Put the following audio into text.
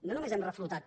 no només hem reflotat